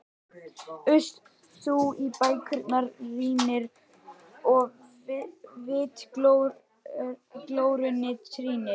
Uss, þú í bækurnar rýnir og vitglórunni týnir.